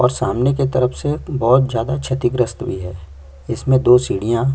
और सामने की तरफ से बहुत ज्यादा क्षतिग्रस्त भी है इसमें दो सीढ़ियां --